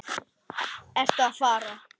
Ertu að fara?